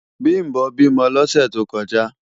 Bimbo bímò lòsè tókòjá